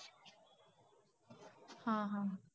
हा हा.